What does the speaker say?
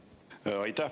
Aitäh!